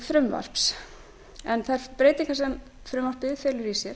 frumvarps en þær breytingar sem frumvarpið felur í sér